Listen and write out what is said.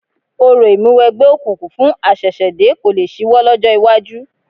Orò ìmúniwẹgbẹ́ òkùnkùn fún àṣẹ̀ṣẹ̀dé kò lé ṣíwọ́ lọ́jọ́ iwájú